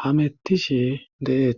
hamettishi deeet